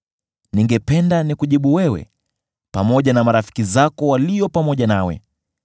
“Ningependa nikujibu wewe pamoja na marafiki zako walio pamoja nawe.